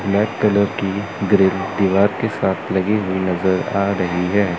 Black colour grill ग्रील दीवार के साथ लगी हुई नज़र आ रही है।